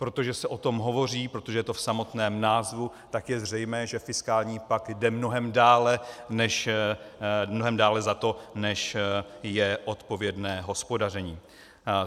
Protože se o tom hovoří, protože je to v samotném názvu, tak je zřejmé, že fiskální pakt jde mnohem dále za to, než je odpovědné hospodaření.